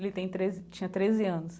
Ele tem treze tinha treze anos.